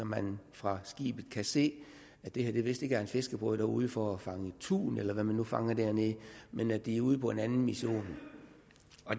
man kan fra skibet se at det vist ikke er en fiskerbåd der er ude for at fange tun eller hvad de nu fanger dernede men at de er ude på en anden mission